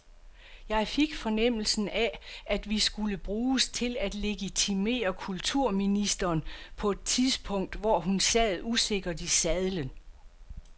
Jeg fik fornemmelsen af, at vi skulle bruges til at legitimere kulturministeren på et tidspunkt, hvor hun sad usikkert i sadlen.